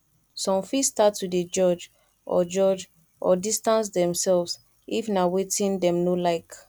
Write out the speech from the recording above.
some fit start to de judge or judge or distance themselves if na wetin dem no like